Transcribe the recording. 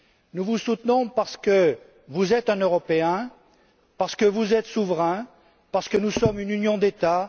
Nous vous soutenons parce que vous êtes un Européen, parce que vous êtes souverain, parce que nous sommes une union d'États.